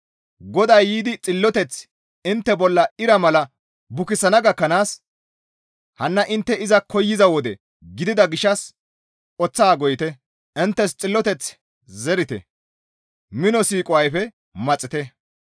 GODAY yiidi xilloteth intte bolla ira mala bukisana gakkanaas hanna intte iza koyza wode gidida gishshas oththaa goyite; inttes xilloteth zerite; mino siiqo ayfe maxite.